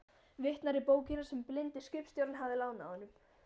Vitnar í bókina sem blindi skipstjórinn hafði lánað honum.